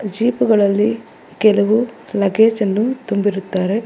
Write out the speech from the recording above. Jeep ಗಳಲ್ಲಿ ಕೆಲವು luggage ಅನ್ನು ತುಂಬಿರುತ್ತಾರೆ.